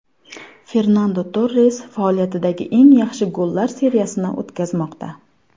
Fernando Torres faoliyatidagi eng yaxshi gollar seriyasini o‘tkazmoqda.